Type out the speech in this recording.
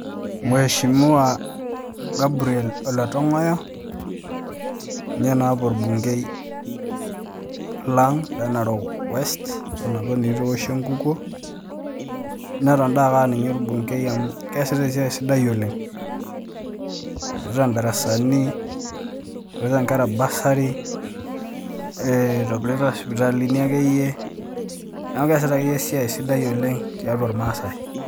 Mweshimiwa Gabriel ole tongoyo ,ninye naapa orbungei le Narok west peoshi enkukuo neton naake aninge ornungei amu keasita esiai sidai oleng, eshetita ndarasani e itobirita sipitalini akeyie neaku keasita akeyie esidai tiatua irmasaasai.